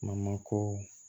ko